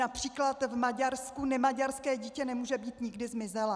Například v Maďarsku nemaďarské dítě nemůže být nikdy zmizelé.